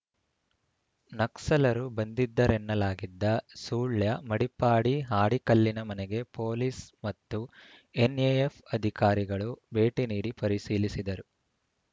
ನಕ್ಸಲರು ಬಂದಿದ್ದರೆನ್ನಲಾಗಿದ್ದ ಸುಳ್ಯ ಮಡಿಪ್ಪಾಡಿ ಹಾಡಿಕಲ್ಲಿನ ಮನೆಗೆ ಪೊಲೀಸ್‌ ಮತ್ತು ಎನ್‌ಎಎಫ್‌ ಅಧಿಕಾರಿಗಳು ಭೇಟಿ ನೀಡಿ ಪರಿಶೀಲಿಸಿದರು